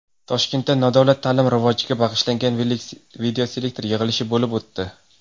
Toshkentda nodavlat ta’lim rivojiga bag‘ishlangan videoselektor yig‘ilishi bo‘lib o‘tdi.